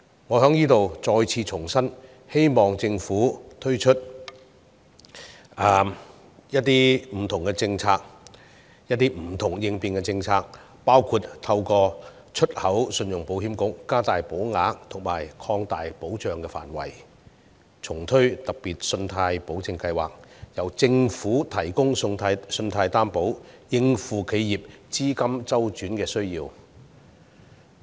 我在這裏再次重申，希望政府推出不同的政策和應變措施，包括透過出口信用保險局加大保額和擴大保障範圍，以及重推"特別信貸保證計劃"，由政府提供信貸擔保，以應付企業資金周轉需要。